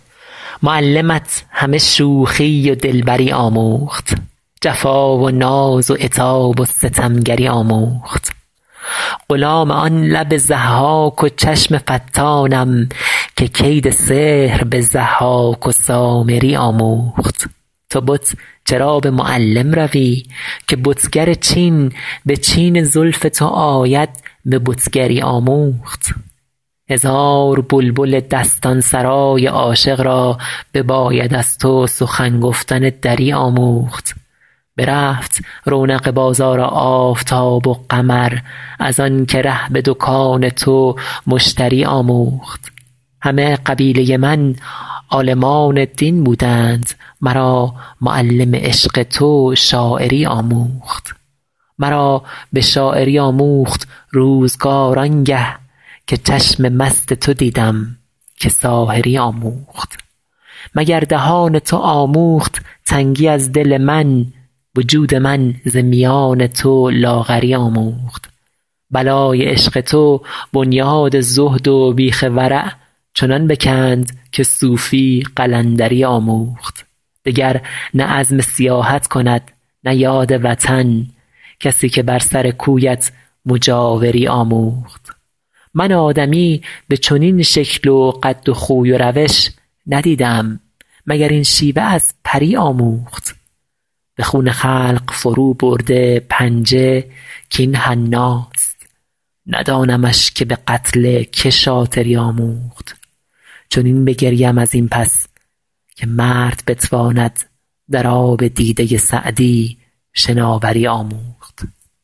معلمت همه شوخی و دلبری آموخت جفا و ناز و عتاب و ستمگری آموخت غلام آن لب ضحاک و چشم فتانم که کید سحر به ضحاک و سامری آموخت تو بت چرا به معلم روی که بتگر چین به چین زلف تو آید به بتگری آموخت هزار بلبل دستان سرای عاشق را بباید از تو سخن گفتن دری آموخت برفت رونق بازار آفتاب و قمر از آن که ره به دکان تو مشتری آموخت همه قبیله من عالمان دین بودند مرا معلم عشق تو شاعری آموخت مرا به شاعری آموخت روزگار آن گه که چشم مست تو دیدم که ساحری آموخت مگر دهان تو آموخت تنگی از دل من وجود من ز میان تو لاغری آموخت بلای عشق تو بنیاد زهد و بیخ ورع چنان بکند که صوفی قلندری آموخت دگر نه عزم سیاحت کند نه یاد وطن کسی که بر سر کویت مجاوری آموخت من آدمی به چنین شکل و قد و خوی و روش ندیده ام مگر این شیوه از پری آموخت به خون خلق فروبرده پنجه کاین حناست ندانمش که به قتل که شاطری آموخت چنین بگریم از این پس که مرد بتواند در آب دیده سعدی شناوری آموخت